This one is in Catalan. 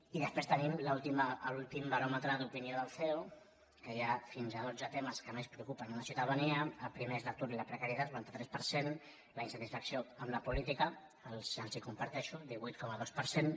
i després tenim l’últim baròmetre d’opinió del ceo que hi ha fins a dotze temes que més preocupen la ciutadania el primer és l’atur i la precarietat quaranta tres per cent la insatisfacció amb la política els la comparteixo el cent i vuitanta dos per cent